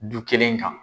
Du kelen kan